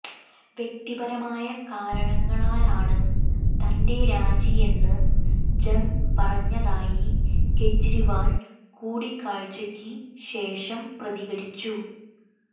വ്യക്തിപരമായ കാരണങ്ങളാലാണ് തന്റെ രാജിയെന്ന് ജങ് പറഞ്ഞതായി കെജ്രിവാൾ കൂടിക്കാഴ്ചയ്ക്ക് ശേഷം പ്രതികരിച്ചു